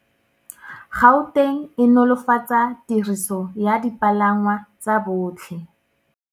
Gauteng e nolofatsa tiriso ya dipalangwa tsa botlhe.